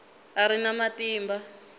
a a ri na matimba